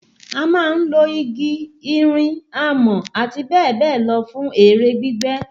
A máa ń lo igi, irin, amọ̀ àtibẹ́ẹ̀bẹ́ẹ̀lọ fún èrè gbígbẹ̀.